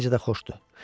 Necə də xoşdu.